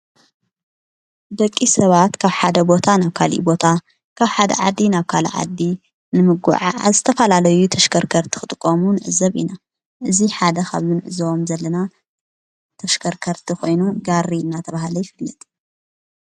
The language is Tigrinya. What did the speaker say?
በቂ ሰባት ካብ ሓደ ቦታ ናብ ካሊ ቦታ ካብ ሓደ ዓዲ ናብ ካልዓዲ ንምጕዓ ኣስተፋላለዩ ተሽከርከርቲ ኽጥቆሙ ንእዘብ ኢና እዙ ሓደ ኸብ ንዕዝወም ዘለና ተሽከርከርቲ ኾይኑ ጋሪ እና ተብሃለ ኣይፍልጥ።